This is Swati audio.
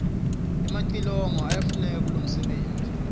emacilongo yayafuneka kulomfebenti